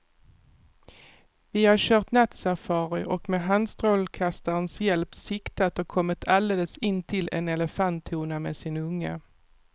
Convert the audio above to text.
Vi har kört nattsafari och med handstrålkastarens hjälp siktat och kommit alldeles intill en elefanthona med sin unge.